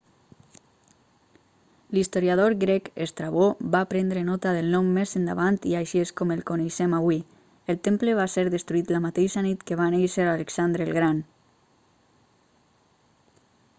l'historiador grec estrabó va prendre nota del nom més endavant i així és com el coneixem avui el temple va ser destruït la mateixa nit que va néixer alexandre el gran